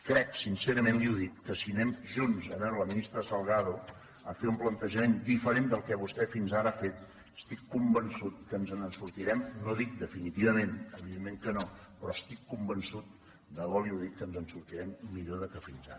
crec sincerament li ho dic que si anem junts a veure la ministra salgado a fer un plantejament diferent del que vostè fins ara ha fet estic convençut que ens en sortirem no dic definitivament evidentment que no però estic convençut de debò li ho dic que ens en sortirem millor que fins ara